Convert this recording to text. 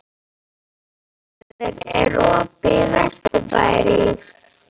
Sæfríður, er opið í Vesturbæjarís?